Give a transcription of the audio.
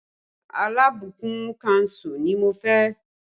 Alábùkún kánsù ni mo fẹ́